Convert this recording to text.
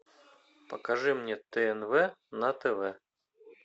покажи мне тнв на тв